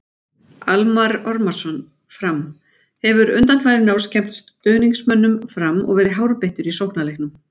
Almarr Ormarsson- Fram: Hefur undanfarin ár skemmt stuðningsmönnum Fram og verið hárbeittur í sóknarleiknum.